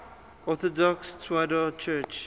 orthodox tewahedo church